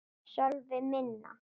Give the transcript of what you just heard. Sölvi: Minna?